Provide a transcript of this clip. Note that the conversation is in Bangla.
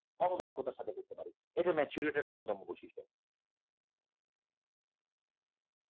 অবদক্ষতার সাথে করতে পারি, এটা maturity র অন্যতম বৈশিষ্ট্য